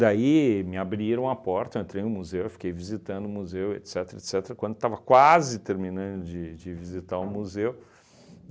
Daí me abriram a porta, eu entrei no museu, e fiquei visitando o museu, etcetera, etcetera, quando estava quase terminando de de visitar o museu